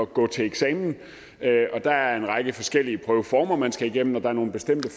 gå til eksamen der er en række forskellige prøveformer man skal igennem og der er nogle bestemte